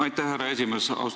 Aitäh, härra esimees!